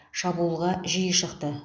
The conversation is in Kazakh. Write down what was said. шабуылға жиі шықты